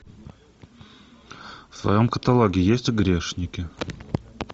в твоем каталоге есть грешники